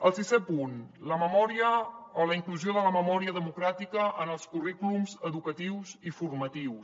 el sisè punt la memòria o la inclusió de la memòria democràtica en els currículums educatius i formatius